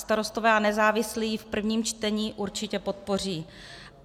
Starostové a nezávislí ji v prvním čtení určitě podpoří.